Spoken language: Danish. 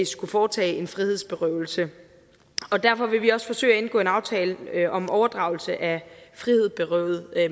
skulle foretage en frihedsberøvelse derfor vil vi også forsøge at indgå en aftale om overdragelse af frihedsberøvede